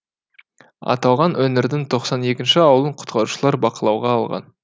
аталған өңірдің тоқсан екі ауылын құтқарушылар бақылауға алған